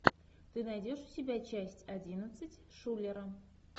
ты найдешь у себя часть одиннадцать шулера